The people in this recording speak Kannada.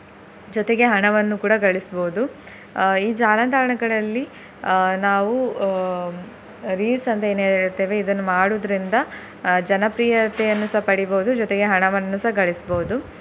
ಜೊತೆಗೆ ಹಣವನ್ನು ಕೂಡ ಗಳಿಸ್ಬೋದು ಅಹ್ ಈ ಜಾಲತಾಣಗಳಲ್ಲಿ ಅಹ್ ನಾವು ಹ್ಮ್ reels ಅಂತ ಏನ್ ಹೇಳ್ತೇವೆ ಇದನ್ನು ಮಾಡುದ್ರಿಂದ ಅಹ್ ಜನಪ್ರಿಯತೆಯನ್ನು ಸಹ ಪಡಿಬೋದು ಜೊತೆಗೆ ಹಣವನ್ನು ಸಹ ಗಳಿಸ್ಬೋದು.